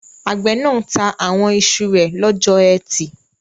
Àgbẹ̀ náà ta àwọn iṣu rẹ̀ lọ́jọ́ ẹtì